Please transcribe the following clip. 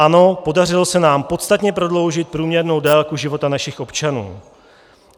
Ano, podařilo se nám podstatně prodloužit průměrnou délku života našich občanů.